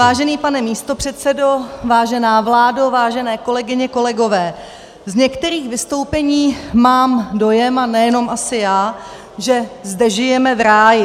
Vážený pane místopředsedo, vážená vládo, vážené kolegyně, kolegové, z některých vystoupení mám dojem, a nejenom asi já, že zde žijeme v ráji.